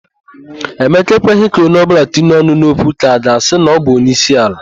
Emeka ekweghị ka onye ọbụla tinye ọnụ n'okwu ka a ga-asị na ọbụ onyeisiala.